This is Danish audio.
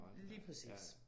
Lige præcis